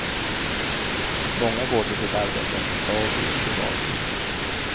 Många går till sitt arbete, dag ut och dag in.